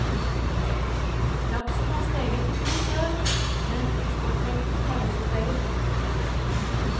Laksen har steget i pris i år, men eksportmengden har også steget.